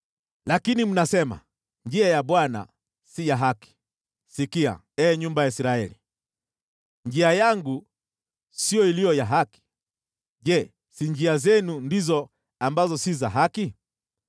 “Lakini mnasema, ‘Njia ya Bwana si ya haki.’ Sikia, ee nyumba ya Israeli: Njia yangu siyo iliyo ya haki? Je, si njia zenu ndizo ambazo si za haki?